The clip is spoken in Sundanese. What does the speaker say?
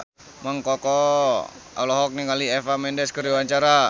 Mang Koko olohok ningali Eva Mendes keur diwawancara